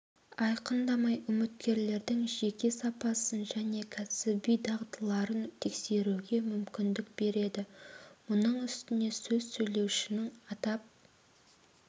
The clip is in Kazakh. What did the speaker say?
айқындамай үміткерлердің жеке сапасын және кәсіби дағдыларын тексеруге мүмкіндік береді мұның үстіне сөз сөйлеушінің атап